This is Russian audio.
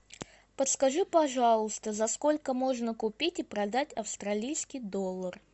подскажи пожалуйста за сколько можно купить и продать австралийский доллар